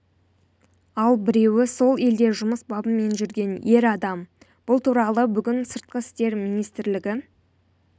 ал біреуі сол елде жұмыс бабымен жүрген ер адам бұл туралы бүгін сыртқы істер министрлігі